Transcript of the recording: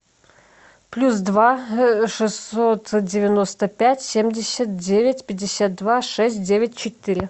плюс два шестьсот девяносто пять семьдесят девять пятьдесят два шесть девять четыре